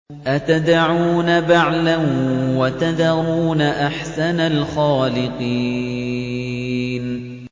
أَتَدْعُونَ بَعْلًا وَتَذَرُونَ أَحْسَنَ الْخَالِقِينَ